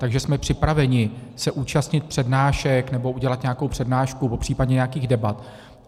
Takže jsme připraveni se účastnit přednášek nebo udělat nějakou přednášku, popřípadě nějakých debat.